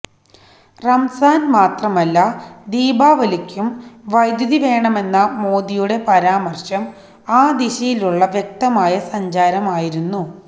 റംസാന് മാത്രമല്ല ദീപാവലിക്കും വൈദ്യുതി വേണമെന്ന മോദിയുടെ പരാമര്ശം ആ ദിശയിലുള്ള വ്യക്തമായ സഞ്ചാരമായിരുന്നു